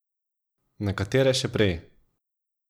Nekatere še prej.